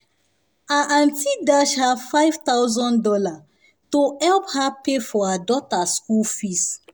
her aunty dash her five thousand dollars to help her pay for her daughter school fees